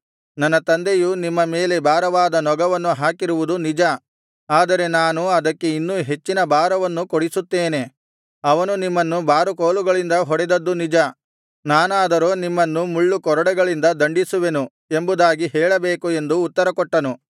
ನನ್ನ ತಂದೆಯು ನಿಮ್ಮ ಮೇಲೆ ಭಾರವಾದ ನೊಗವನ್ನು ಹಾಕಿರುವುದು ನಿಜ ಆದರೆ ನಾನು ಅದಕ್ಕೆ ಇನ್ನೂ ಹೆಚ್ಚಿನ ಭಾರವನ್ನು ಕೂಡಿಸುತ್ತೇನೆ ಅವನು ನಿಮ್ಮನ್ನು ಬಾರುಕೋಲುಗಳಿಂದ ಹೊಡೆದದ್ದು ನಿಜ ನಾನಾದರೋ ನಿಮ್ಮನ್ನು ಮುಳ್ಳುಕೊರಡೆಗಳಿಂದ ದಂಡಿಸುವೆನು ಎಂಬುದಾಗಿ ಹೇಳಬೇಕು ಎಂದು ಉತ್ತರಕೊಟ್ಟನು